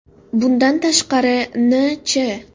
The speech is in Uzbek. Bundan tashqari, N.Ch.